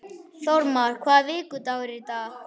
Þórmar, hvaða vikudagur er í dag?